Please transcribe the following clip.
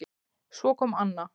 Svo kom Anna